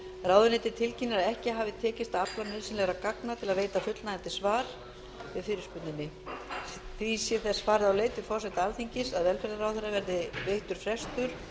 ráðuneytið tilkynnir að ekki hafi tekist að afla nauðsynlegra gagna til að veita fullnægjandi svar við fyrirspurninni því er þess farið á leit við forseta alþingis að velferðarráðherra verði veittur frestur